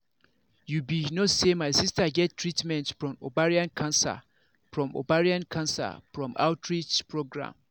you be no say my sister get treatment from ovarian cancer from ovarian cancer from outreach program